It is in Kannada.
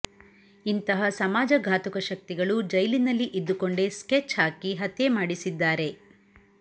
ಇಂತಹ ಸಮಾಜ ಘಾತುಕ ಶಕ್ತಿಗಳು ಜೈಲಿನಲ್ಲಿ ಇದ್ದುಕೊಂಡೇ ಸ್ಕೆಚ್ ಹಾಕಿ ಹತ್ಯೆ ಮಾಡಿಸಿದ್ದಾರೆ